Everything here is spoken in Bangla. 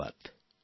ধন্যবাদ